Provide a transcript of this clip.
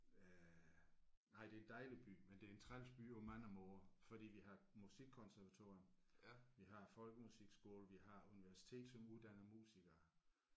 Øh nej det er en dejlig by men det er en træls by på mange måder fordi vi har musikkonservatorium vi har folkemusikskole vi har universitet som uddanner musikere